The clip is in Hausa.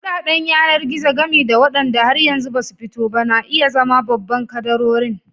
Kuɗaɗen yanar-gizo, gami da waɗanda har yanzu ba su fito ba, na iya zama babban kadarorin.